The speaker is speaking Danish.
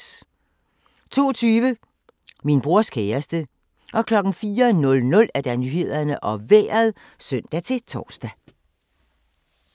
02:20: Min brors kæreste 04:00: Nyhederne og Vejret (søn-tor)